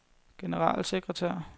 generalsekretær